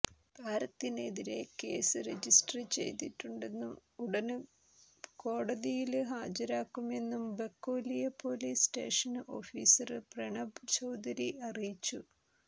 താരത്തിനെതിരെ case register ചെയ്തിട്ടുണ്ടെന്നും ഉടന് കോടതിയില് ഹാജരാക്കുമെന്നും Bakolia police station officer Pranab Chaudhary അറിയിച്ചു